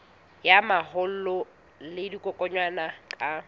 ya mahola le dikokwanyana ka